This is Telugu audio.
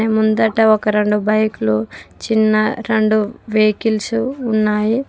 ముందట ఒక రెండు బైకులు చిన్న రెండు వెహికల్స్ ఉన్నాయి.